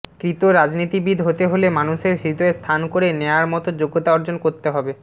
কৃত রাজনীতিবিদ হতে হলে মানুষের হৃদয়ে স্থান করে নেয়ার মতো যোগ্যতা অর্জন করতে হবে